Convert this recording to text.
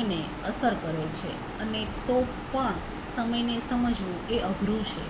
એને અસર કરે છે અને તો પણ સમયને સમજવું એ અઘરું છે